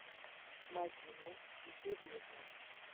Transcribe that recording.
мадина юрьевна